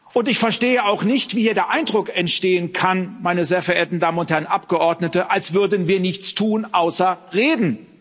Und ich verstehe auch nicht, wie hier der Eindruck entstehen kann, meine sehr verehrten Damen und Herren Abgeordnete, als würden wir nichts tun, außer reden.